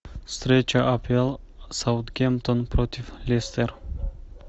встреча апл саутгемптон против лестер